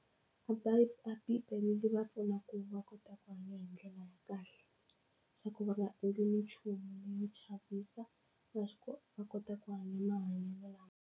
A a bibele yi va pfuna ku va kota ku hanya hi ndlela ya kahle swa ku va nga endli ni nchumu ni na va kota ku hanya mahanyelo lama.